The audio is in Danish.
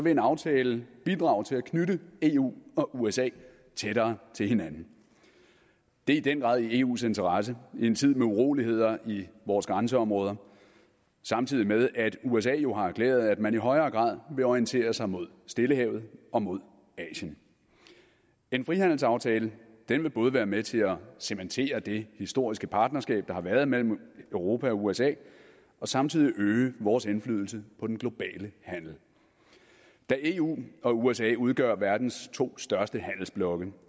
en aftale bidrage til at knytte eu og usa tættere til hinanden det er i den grad i eus interesse i en tid med uroligheder i vores grænseområder samtidig med at usa jo har glæde af at man i højere grad vil orientere sig mod stillehavet og mod asien en frihandelsaftale vil både være med til at cementere det historiske partnerskab der har været mellem europa og usa og samtidig øge vores indflydelse på den globale handel da eu og usa udgør verdens to største handelsblokke